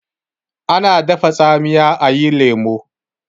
ana dafa tsamiya a yi lemo